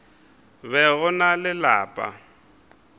be go na le lapa